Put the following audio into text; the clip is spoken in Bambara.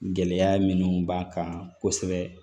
Gɛlɛya minnu b'a kan kosɛbɛ